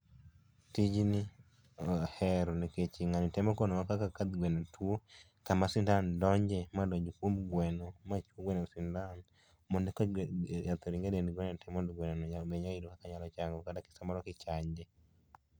Tijni ahero nikech ng'ani temo konowa kaka gweno tuo kama sindan donje ma donj kuom gweno machuo gweno sindan mondo e ka yath oring e dend gweno te mondo gweno no mi nyalo yudo kaka nyalo chango kata ka samoro kichanje.